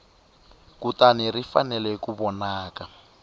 kutani ri fanele ku vonaka